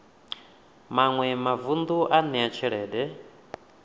maṅwe mavun ḓu a ṋea tshelede